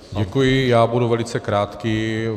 Děkuji, já budu velice krátký.